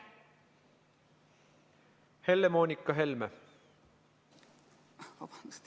Helle-Moonika Helme.